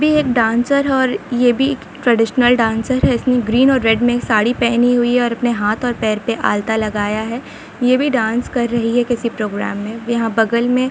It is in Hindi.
यह भी एख डांसर और ये भी एक ट्रेडिशनल डांसर है अपने ग्रीन और रेड में साड़ी पहनी हुई है अपने हाथों पर में आल्ता लगा है यह भी डांस कर रही है किसी प्रोग्राम में यहां बगल में--